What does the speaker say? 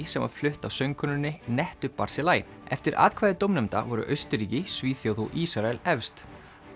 sem var flutt af söngkonunni nettu Barzilai eftir atkvæði dómnefnda voru Austurríki Svíþjóð og Ísrael efst